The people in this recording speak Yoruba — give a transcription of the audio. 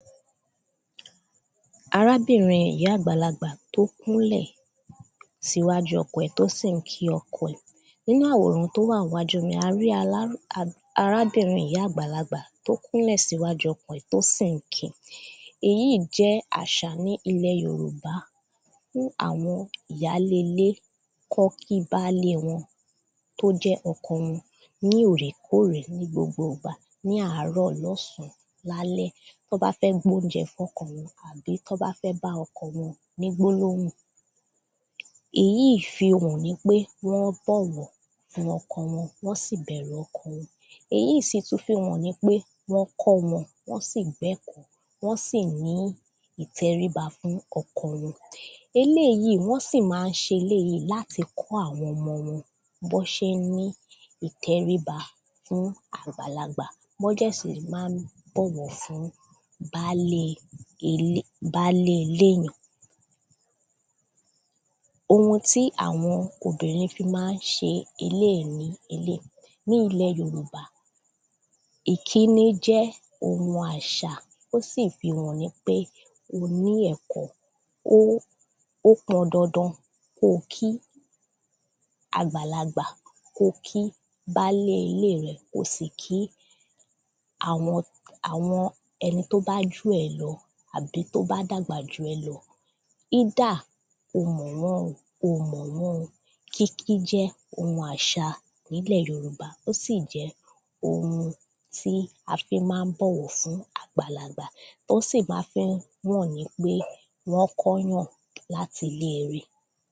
arábìnrin ìyá àgbàlagbà tó kúnlẹ̀ síwájú ọkọ ẹ̀ tó sì n kín ọkọ ẹ̀ nínú àwòrán tó wà ńwájú mí, a rí alá à arábìnrin ìyá àgbàlagbá tó kúnlẹ̀ síwájú ọkọ ẹ̀ tó sì ń kín-in èyíì jẹ́ àṣà ní ilẹ̀ yorùbá fún àwọn ìyálé ilé kán kín bálé wọn tó jẹ́ ọkọ wọn. ní òrèkórè, ní gbogbo ìgbà ní àárọ̀, lọ́sàn-án, lálẹ́ tán bá fẹ́ gbóúnjẹ fọ́kọ wọn pé tọ́n bá fẹ́ bá ọkọ wọn ní gbólóhùn, èyí fihàn nípé wọ́n bọ̀wọ̀ fún ọkọ wọn, wọ́n sì bẹ̀rù ọkọ wọn eyí í sì tún fihàn nípé wọ́n kọ́ wọn, wọ́n sì gbẹ́kọ̀ọ́, wọ́n sì ní ìtẹríba fún ọkọ wọn eléyíí, wọ́n sì ma ń ṣe eléyìí láti kọ́ àwọn ọmọ wọn bọ́n ṣe n ní ìtẹríba fún àgbàlagbà mọ́ jẹ̀ sì lè ma ń bọ̀wọ̀ fún baálé ilé baálé iléyàn ohun tí àwọn obìnrin fi máa ṣe eléìí ni eléìí ní ilẹ̀ yorùbá, ìkíni jẹ́ ohun àṣà, ó sì fihàn nípé o ní ẹ̀kọ́ ó ó pọn dandan kóo kín àgbàlagbà, kóo kí baálé ilé rẹ̀, ko sì kí àwọn àwọn ẹni tó bá jù ẹ́ lọ àbí tó bá dàgbà jù ẹ́ lọ. ídà o mọ̀ wọ́n o, oò mọ̀ wọ́n o, kínkín jẹ́ ohun àṣà nílẹ̀ yorùbá ó sì jẹ́ ohun tí a fi ma ń bọ̀wọ̀ fún àgbàlagbà tọ́n sì máa fi ń wàn nípé wọ́n kọ́ yàn láti ilé ire